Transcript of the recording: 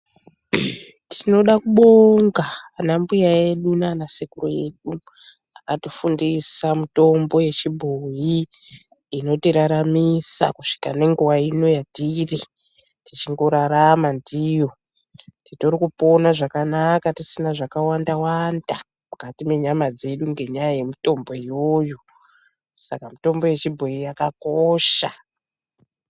Tinoda kubonga ana mbuya edu naana sekuru edu akatifundisa mutombo yechibhoyi inotiraramisa kusvika nenguva ino yatiri tichingorarama ndiyo. Titori kupona zvakanaka tisina zvakawanda wanda mukati menyama dzedu ngenyaya yemitombo iyoyo, saka mutombo yechibhoyi yakakosha.